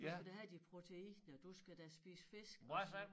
Du skal da have de proteiner du skal da spise fisk og så